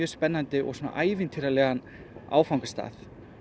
spennandi og ævintýralegan áfangastað